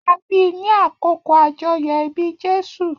A bi ni àkókò ajoyọ ibi Jésù.